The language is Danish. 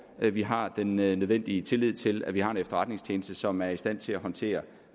vi vi har den nødvendige tillid til at vi har en efterretningstjeneste som er i stand til at håndtere